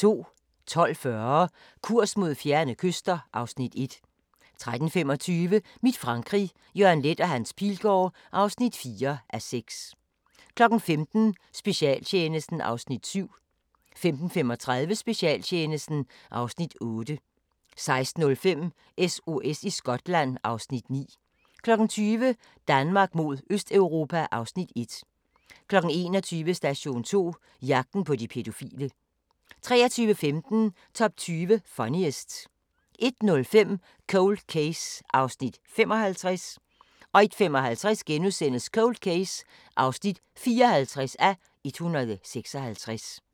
12:40: Kurs mod fjerne kyster (Afs. 1) 13:25: Mit Frankrig – Jørgen Leth & Hans Pilgaard (4:6) 15:00: Specialtjenesten (Afs. 7) 15:35: Specialtjenesten (Afs. 8) 16:05: SOS i Skotland (Afs. 9) 20:00: Danmark mod Østeuropa (Afs. 1) 21:00: Station 2: Jagten på de pædofile 23:15: Top 20 Funniest 01:05: Cold Case (55:156) 01:55: Cold Case (54:156)*